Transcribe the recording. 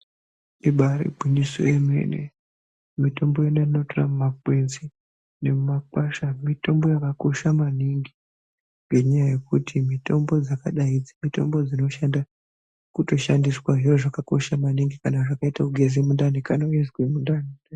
Ibari gwinyiso remene mitombo yatinotora mumakwenzi nemumakwasha Mitombo yakakosha maningi Ngekuti mitombo yakadai mitombo inoshanda yotoshandiswa zviro zvakakosha maningi kana zvakaita kugeza mundani kana weizwa mundani.